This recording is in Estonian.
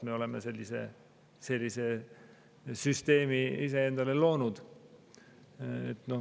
Me oleme sellise süsteemi ise endale loonud.